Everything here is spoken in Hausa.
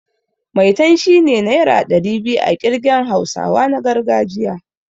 Maitan' shine naira ɗari biyu a ƙirgen hausawa na gargajiya.